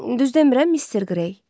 Düz demirəm, Mister Grey?